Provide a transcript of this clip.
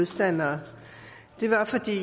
taler